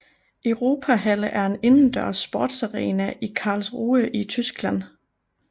Europahalle er en indendørs sportsarena i Karlsruhe i Tyskland